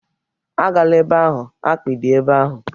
Agala ebe ahụ! akpị dị ebe ahụ